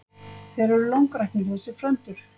Þeir eru langræknir þessir frændur.